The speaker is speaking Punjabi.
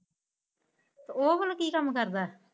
ਓਹ ਹੁਣ ਕੀ ਕੰਮ ਕਰਦਾ?